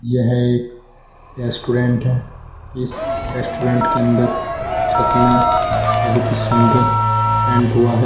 यह एक रेस्टोरेंट है इस रेस्टोरेंट के अंदर छत में बहुत ही सुंदर पेंट हुआ है।